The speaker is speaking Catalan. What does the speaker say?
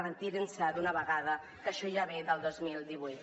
retirin se d’una vegada que això ja ve del dos mil divuit